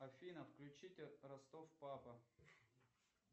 афина включите ростов папа